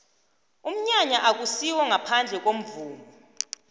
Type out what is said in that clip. umnyanya akusiwo ngaphandle komvumo